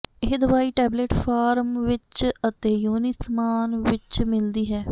ਇਹ ਦਵਾਈ tablet form ਵਿਚ ਅਤੇ ਯੋਨੀ ਸਮਾਨ ਵਿਚ ਮਿਲਦੀ ਹੈ